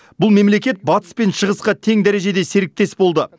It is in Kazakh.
бұл мемлекет батыс пен шығысқа тең дәрежеде серіктес болды